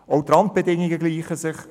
Auch die Randbedingungen gleichen sich: